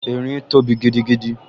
Erin tóbi gidigidi